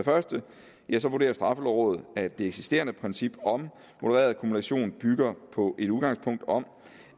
første vurderer straffelovrådet at det eksisterende princip om modereret kumulation bygger på et udgangspunkt om